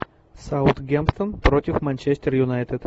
саутгемптон против манчестер юнайтед